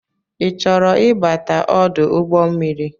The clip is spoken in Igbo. I chọrọ ịbata ọdụ ụgbọmmiri?